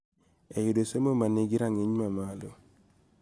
E yudo somo ma nigi rang�iny mamalo.